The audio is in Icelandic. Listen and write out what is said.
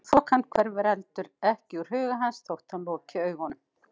Og þokan hverfur heldur ekki úr huga hans þótt hann loki augunum.